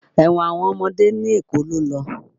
Ẹ̀wọ̀n àwọn ọmọdé ní Èkó ló lọ.